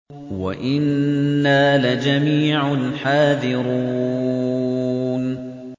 وَإِنَّا لَجَمِيعٌ حَاذِرُونَ